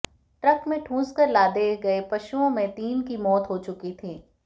truck में ठूंस कर लादे गए पशुओं में तीन की मौत हो चुकी थी